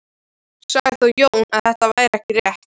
Sagði þá Jón að þetta væri ekki rétt.